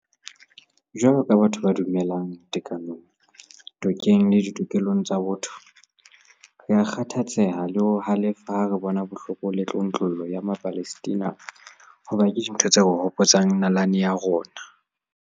Jwalo ka batho ba dumelang tekanong, tokeng le ditokelong tsa botho, rea kgathatseha le ho halefa ha re bona bohloko le tlontlollo ya Mapalestina hoba ke dintho tse re hopotsang nalane ya rona.